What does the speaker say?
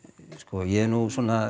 ég